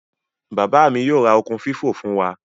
Baba mi yoo ra okun fifo fun wa.